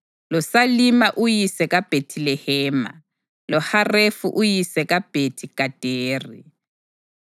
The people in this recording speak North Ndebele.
loSalima uyise kaBhethilehema, loHarefi uyise kaBhethi-Gaderi.